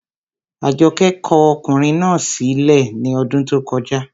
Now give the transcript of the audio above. Àjọkẹ́ kọ ọkùnrin náà sí lẹ̀ ní ọdún tó kọjá